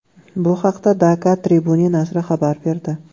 Bu haqda Dhaka Tribune nashri xabar berdi .